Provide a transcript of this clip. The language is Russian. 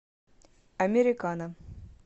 американо